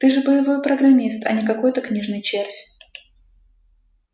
ты же боевой программист а не какой-то книжный червь